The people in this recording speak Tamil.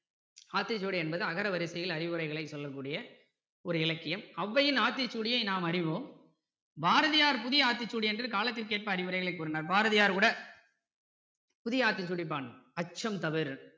ஆத்திச்சூடி என்பது அகர வரிசையில் அறிவுரைகளை சொல்ல கூடிய ஒரு இலக்கியம் ஔவையின் ஆத்திச்சூடியை நாம் அறிவோம் பாரதியார் புதிய ஆத்திச்சூடி என்று காலத்திற்கு ஏற்ப அறிவுரைகளை கூறினார் பாரதியார் கூட புதிய ஆத்திச்சூடி பாடினார் அச்சம் தவிர்